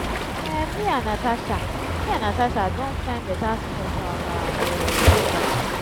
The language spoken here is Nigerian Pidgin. um me and natasha me and natasha don find better spot for our um yoga